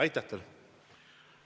Aitäh teile!